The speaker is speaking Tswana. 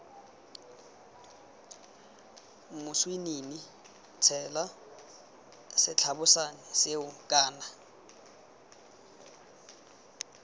moswinini tshela setlabošane seo kana